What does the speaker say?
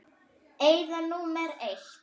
Eyða númer eitt.